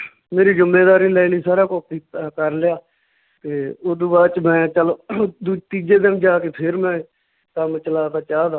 ਮੇਰੀ ਜੁੰਮੇਦਾਰੀ ਲੈ ਲਈ ਸਾਰਾ ਅਹ ਕਰ ਲਿਆ ਤੇ ਓਦੂ ਬਾਅਦ ਚ ਮੈਂ ਚੱਲ ਦੂ ਤੀਜੇ ਦਿਨ ਜਾ ਕੇ ਫੇਰ ਮੈਂ ਕੰਮ ਚਲਾਤਾ ਚਾਹ ਦਾ